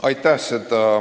Aitäh!